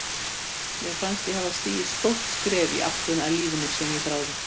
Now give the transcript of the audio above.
Nútímalíf fólks er með þeim hætti að álfar höfða ekki til þess.